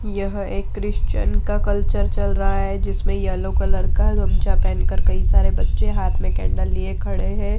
यह एक क्रिश्चियन का कल्चर चल रहा है जिसमें येलो कलर का गमछा पेहेन कर कई सारे बच्चे हाथ में कैंडल लिए खड़े हैं।